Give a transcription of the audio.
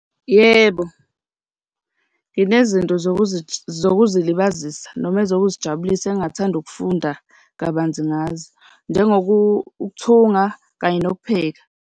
Yebo, nginezinto zokuzilibazisa noma ezokuzijabulisa engingathanda ukufunda kabanzi ngazo, njengokuthunga kanye nokupheka.